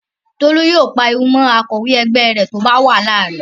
Tolú yóò pariwo mọ́ akọ̀wé ẹgbẹ́ rẹ̀ lórí bí ó bá wàhálà rẹ̀